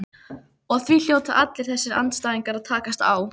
Og því hljóta alltaf þessir andstæðingar að takast á.